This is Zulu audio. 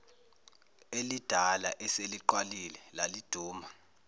elidala eseligqwalile laliduma